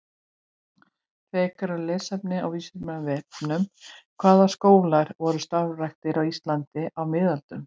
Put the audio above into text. Frekara lesefni á Vísindavefnum: Hvaða skólar voru starfræktir á Íslandi á miðöldum?